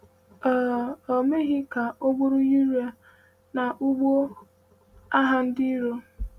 Ò um meghị ka o gburu Uriah n’ụgbọ agha ndị iro?